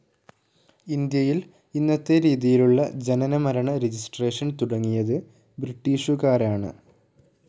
ഇന്ത്യയിൽ ഇന്നത്തെ രീതിയിലുള്ള ജനനമരണ രജിസ്ട്രേഷൻ തുടങ്ങിയത് ബ്രിട്ടീഷുകാരാണ്.